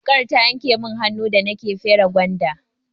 Wuƙar ta yanke mun hannu da nake fere gwanda.